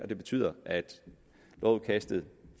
det betyder at lovudkastet